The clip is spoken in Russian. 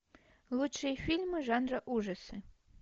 лучшие фильмы жанра ужасы